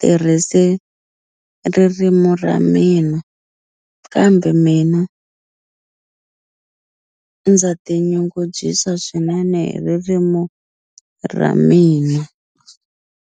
tirhisi ririmu ra mina kambe mina ndza tinyungubyisa swinene hi ririmu ra mina.